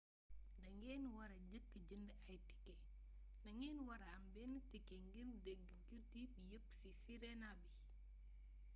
da ngen wara jëka jënd ay ticket ndagen wara am ben ticket ngir des gudi bi yëp si sirena bi